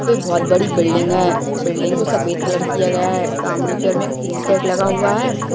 पे बहुत बड़ी बिल्डिंग है बिल्डिंग को सफ़ेद कलर किया गया है सामने की और में एक टीन सेट लगा हुआ हुआ है